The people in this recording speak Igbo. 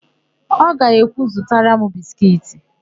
Ọ ga-ekwu, "zụtara m biskiiti"!